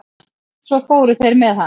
Svo fóru þeir með hann.